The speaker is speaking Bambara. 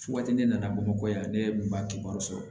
Fo waati ne nana bamakɔ yan ne ye ba kibaru sɔrɔ